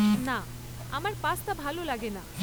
না, আমার পাস্তা ভালো লাগে না।